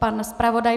Pan zpravodaj?